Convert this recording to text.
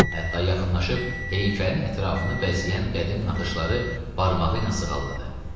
Hətta yaxınlaşıb heykəlin ətrafını bəzəyən qədim naxışları barmağı ilə sığalladı.